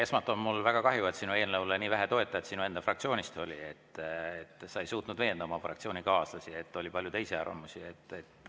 Esmalt, mul on väga kahju, et sinu eelnõule sinu enda fraktsioonist nii vähe toetajaid oli, et sa ei suutnud veenda oma fraktsioonikaaslasi ja oli palju teisi arvamusi.